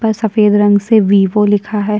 सफ़ेद रंग से वीवो लिखा है।